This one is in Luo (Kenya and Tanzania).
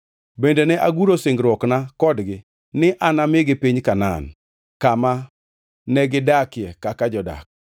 Bende ne aguro singruokna kodgi ni anamigi piny Kanaan, kama negidakie kaka jodak.